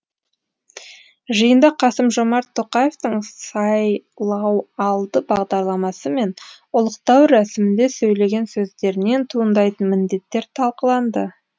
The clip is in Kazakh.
жиында қасым жомарт тоқаевтың сайлауалды бағдарламасы мен ұлықтау рәсімінде сөйлеген сөздерінен туындайтын міндеттер талқыланды